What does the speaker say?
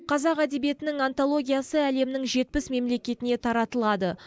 қазақ әдебиетінің антологиясы әлемнің жетпіс мемлекетіне таратылады